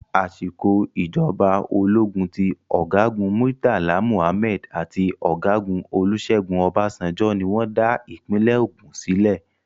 Àsìkò ìjọba ológun ti ọ̀gágu Murtala Muhammed àti ọ̀gágun Olúṣẹ́gun Ọbasanjo ní wọ́n dá ìpínlẹ̀ Ogùn sílẹ̀.